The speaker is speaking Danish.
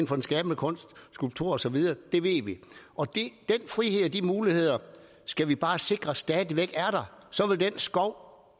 for den skabende kunst skulpturer og så videre det ved vi og den frihed og de muligheder skal vi bare sikre stadig væk er der så vil den skov